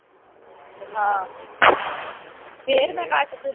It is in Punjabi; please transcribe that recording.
ਆਹੋ ਫਿਰ ਮੈ cut ਦੇਣਾ